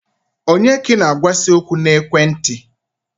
Onye ka ị na-agwa si okwu na ekwenti?